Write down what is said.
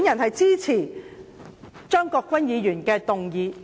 我支持張國鈞議員的議案。